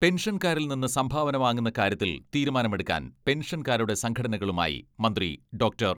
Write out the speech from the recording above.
പെൻഷൻകാരിൽ നിന്ന് സംഭാവന വാങ്ങുന്ന കാര്യത്തിൽ തീരുമാനമെടുക്കാൻ പെൻഷൻകാരുടെ സംഘടനകളുമായി മന്ത്രി ഡോക്ടർ.